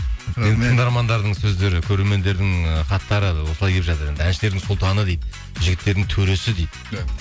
тыңдармандардың сөздері көрермендердің ы хаттары осылай келіп жатыр әншілердің сұлтаны дейді жігіттердің төресі дейді